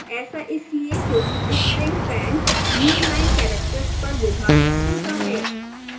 ऐसा इसलिए क्योंकि string pend newline characters पर विभाजित होता है